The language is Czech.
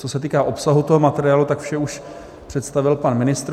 Co se týká obsahu toho materiálu, tak vše už představil pan ministr.